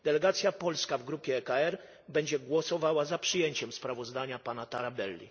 Delegacja polska w grupie EKR będzie głosowała za przyjęciem sprawozdania pana Tarabelli.